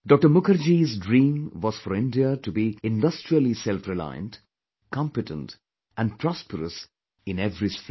Mukherjee's dream was for India to be industrially selfreliant, competent and prosperous in every sphere